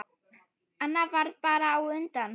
Annar varð bara á undan.